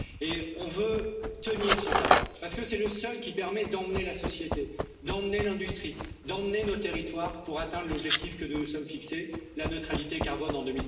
Et on veut tenir ce cap parce que c'est le seul qui permette d'emmener la société, d'emmener l'industrie, d'emmener nos territoires pour atteindre l'objectif que nous nous sommes fixé la neutralité carbone en